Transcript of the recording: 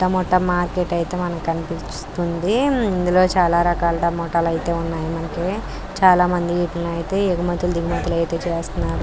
Tomato market ఐతే మనకి కనిపిస్తుంది. ఇందులో చానా రకాల టొమోట్లు అయితే ఉన్నాయి మనకి చానా మంది వీటనైతే యెగుమతులు దిగుమతులు అయితే చేస్తున్నారు.